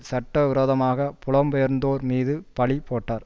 சட்ட விரோதமாக புலம் பெயர்ந்தோர் மீது பழி போட்டார்